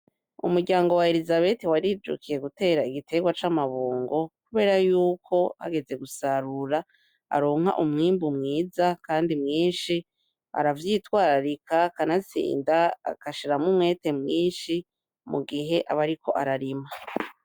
Umuryango wa elisabiti warijukiye gutera igitegwa c'amabungo, kubera yuko hageze gusarura aronka umwimbu mwiza kandi mwinshi aravyitwararika kanatsinda agashiramwo umwete mwinshi mu gihe aba ariko ararima.